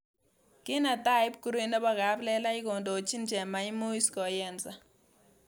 Kinetai pkurui nebo kaplelach kondochin chemaimuc koyensa